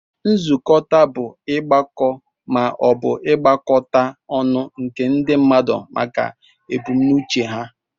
Nzukọta bu igbakọt ma obu igbakọta ọnụ nke ndi mmadu maka ebumnuche ha.